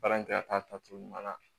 Baara in kɛ ka taa tacogo ɲuman na